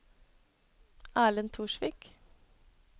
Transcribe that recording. Erlend Torsvik